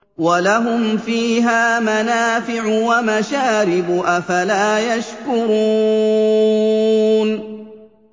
وَلَهُمْ فِيهَا مَنَافِعُ وَمَشَارِبُ ۖ أَفَلَا يَشْكُرُونَ